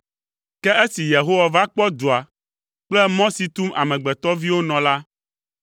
Ke esi Yehowa va kpɔ dua kple mɔ si tum amegbetɔviwo nɔ la,